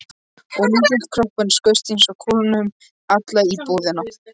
Og litli kroppurinn skaust eins og kúla um alla íbúðina.